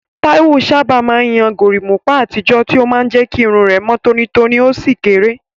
Taiwo sábà máa ń yan gorimapa àtijọ́, tí ó máa ń jẹ́ kí irun rẹ̀ mọ́ tónítóní ó sì kéré.